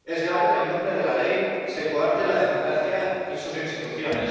es grave que, en nombre de la ley, se coarten la democracia y sus instituciones.